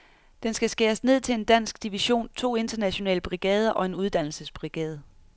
Den skal skæres ned til en dansk division, to internationale brigader og en uddannelsesbrigade.